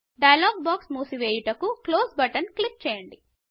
dialogue box మూసి వేయుటకు close button click చేయండి